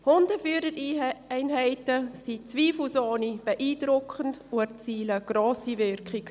Hundeführereinheiten sind zweifelsohne beeindruckend, und sie erzielen eine grosse Wirkung.